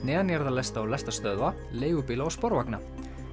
lestarstöðva leigubíla og sporvagna